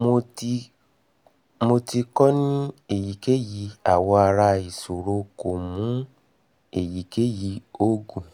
mo ti ko ni eyikeyi awọ ara isoro ko mu eyikeyi oogun